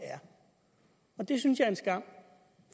er det synes jeg er en skam